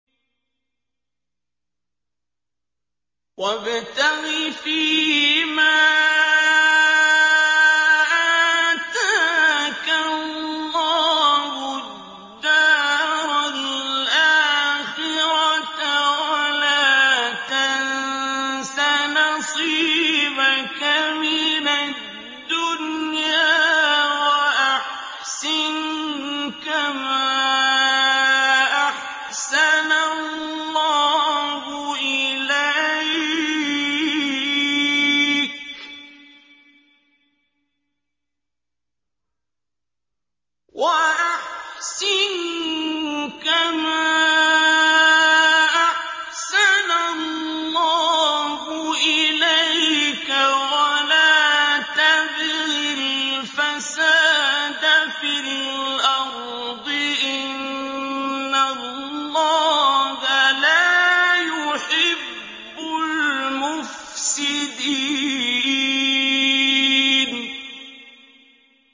وَابْتَغِ فِيمَا آتَاكَ اللَّهُ الدَّارَ الْآخِرَةَ ۖ وَلَا تَنسَ نَصِيبَكَ مِنَ الدُّنْيَا ۖ وَأَحْسِن كَمَا أَحْسَنَ اللَّهُ إِلَيْكَ ۖ وَلَا تَبْغِ الْفَسَادَ فِي الْأَرْضِ ۖ إِنَّ اللَّهَ لَا يُحِبُّ الْمُفْسِدِينَ